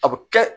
A bɛ kɛ